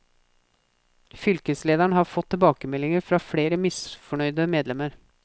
Fylkeslederen har fått tilbakemeldinger fra flere misfornøyd medlemmer.